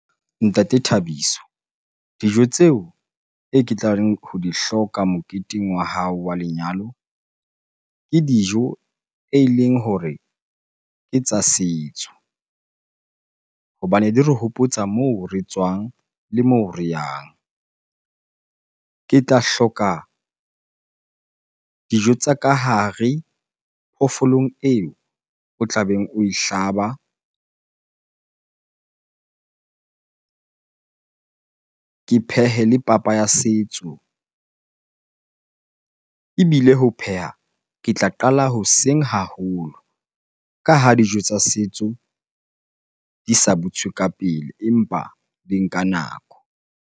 Ntate Thabiso dijo tseo e ke tlareng ho di hloka moketeng wa hao wa lenyalo, ke dijo eleng hore ke tsa setso. Hobane di re hopotsa moo re tswang le moo re yang. Ke tla hloka dijo tsa ka hare phoofolong eo o tlabeng o e hlaba, ke phehe le papa ya setso. Ebile ho pheha ke tla qala hoseng haholo ka ha dijo tsa setso di sa butswe ka pele, empa di nka nako.